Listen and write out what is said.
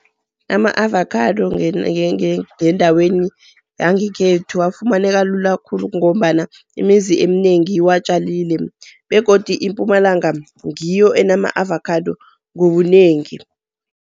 Ama-avakhado ngendaweni yangekhethu afumaneka lula khulu ngombana imizi eminengi iwatjalile. Begodu iMpumalanga ngiyo enama-avakhado ngobunengi.